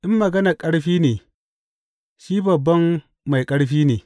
In maganar ƙarfi ne, shi babban mai ƙarfi ne!